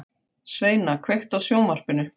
Sveina, kveiktu á sjónvarpinu.